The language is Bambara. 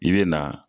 I bɛ na